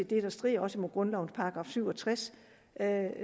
det der strider mod grundlovens § syv og tres